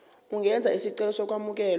ungenza isicelo sokwamukelwa